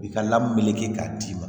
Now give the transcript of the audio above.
I ka lamɔ bɛ kɛ k'a d'i ma